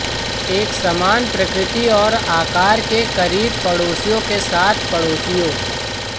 एक समान प्रकृति और आकार के करीब पड़ोसियों के साथ पड़ोसियों